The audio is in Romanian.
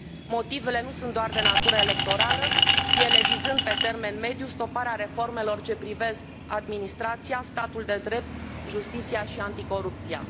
Motivele nu sunt doar de natură electorală, ele vizând pe termen mediu stoparea reformelor ce privesc administrația, statul de drept, justiția și anticorupția.